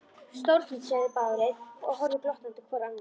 Stórfínt sögðu þeir báðir og horfðu glottandi hvor á annan.